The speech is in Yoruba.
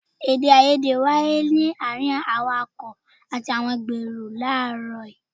Èdè-áiyedé wáyé láàárín awàkọ̀ àti àgbèrò kan láàrọ́ yìí.